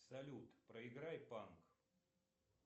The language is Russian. салют проиграй панк